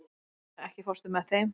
Auðna, ekki fórstu með þeim?